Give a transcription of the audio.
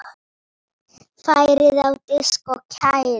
Færið á disk og kælið.